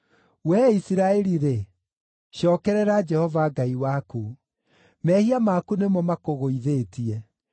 Wee Isiraeli-rĩ, cookerera Jehova Ngai waku. Mehia maku nĩmo makũgũithĩtie!